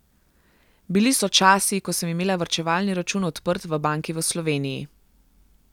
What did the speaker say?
Bili so časi, ko sem imela varčevalni račun odprt v banki v Sloveniji.